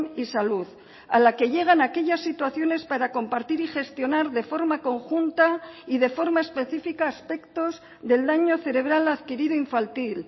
y salud a la que llegan aquellas situaciones para compartir y gestionar de forma conjunta y de forma específica aspectos del daño cerebral adquirido infantil